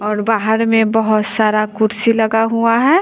और बाहर में बहुत सारा कुर्सी लगा हुआ है।